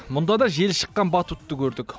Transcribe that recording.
мұнда да желі шыққан батутты көрдік